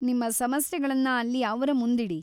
ನಿಮ್ಮ ಸಮಸ್ಯೆಗಳನ್ನ ಅಲ್ಲಿ ಅವ್ರ ಮುಂದಿಡಿ.